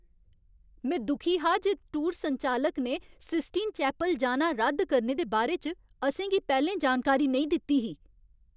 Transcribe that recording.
में दुखी हा जे टूर संचालक ने सिस्टीन चैपल जाना रद्द करने दे बारे च असें गी पैह्लें जानकारी नेईं दित्ती ही।